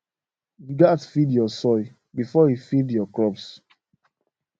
you gatz feed your soil before e feed your crops